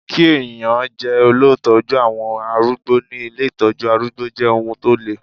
Kí ẹ̀yàn jẹ́ olùtọ́jú àwọn arúgbó ní ilé Ìtọ́jú arúgbó jẹ́ ohun tó le.